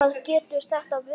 Hvað getur þetta verið?